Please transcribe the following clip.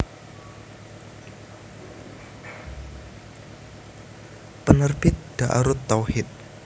Penerbit Daarut Tauhid